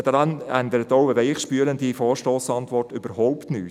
Daran ändert auch eine weichspülende Vorstossantwort überhaupt nichts.